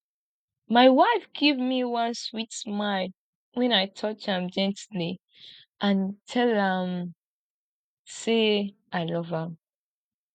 my wife give me one sweet smile wen i touch am gently and tell am say i love am